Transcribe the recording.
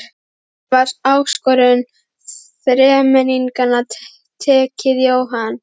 Hvernig var áskorun þremenningana tekið, Jóhann?